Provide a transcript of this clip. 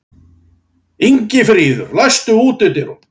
Ingifríður, læstu útidyrunum.